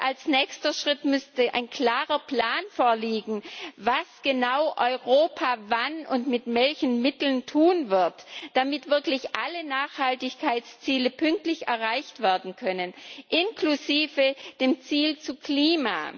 Als nächster Schritt müsste ein klarer Plan vorliegen, was genau Europa wann und mit welchen Mitteln tun wird, damit wirklich alle Nachhaltigkeitsziele pünktlich erreicht werden können, inklusive des Ziels zum Klima.